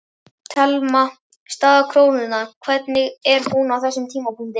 Telma: Staða krónunnar, hvernig er hún á þessum tímapunkti?